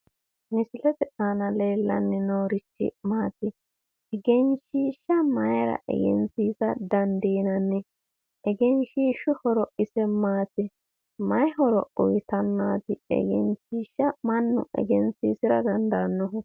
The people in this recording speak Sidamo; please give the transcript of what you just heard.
Misilete aana leellanni noorichi maati? Egenshiishsha mayira egensiisa dandiinanni egenshiishshu horo ise maati? mayi horo uyiitannaati egenshiishsha mannu egensiisira dandaannohu?